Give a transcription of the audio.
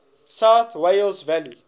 south wales valleys